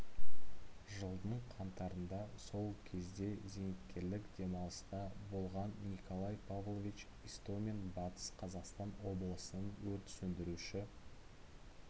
жылдың қаңтарында сол кезде зейнеткерлік демалыста болған николай павлович истомин батыс қазақстан облысының өрт сөндіруші